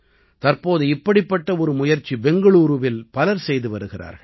தற்போது இப்படிப்பட்ட ஒரு முயற்சி பெங்களூரூவில் பலர் செய்து வருகிறார்கள்